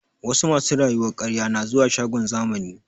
Wasu masu rayuwar ƙarye na zuwa shagon zamani